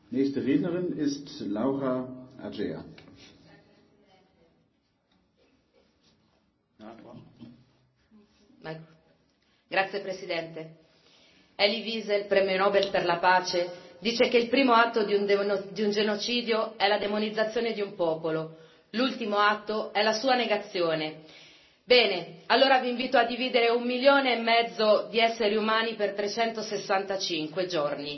Signor Presidente, onorevoli colleghi, Elie Wiesel, premio Nobel per la pace, dice che il primo atto di un genocidio è la demonizzazione di un popolo, l'ultimo atto è la sua negazione. Bene, allora vi invito a dividere un milione e mezzo di esseri umani per 365 giorni.